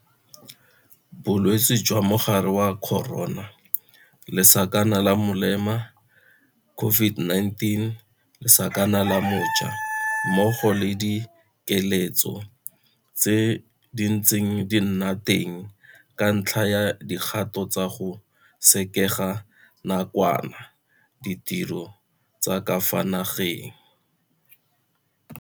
Bolwetse jwa Mogare wa Corona lesakana la molema COVID-19 lesakana la mo ja mmogo le dikiletso tse di ntseng di nna teng ka ntlha ya dikgato tsa go sekega nakwana ditiro tsa ka fa nageng.